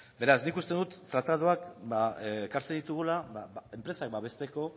beraz nik uste dut tratatuak ekartzen ditugula enpresak babesteko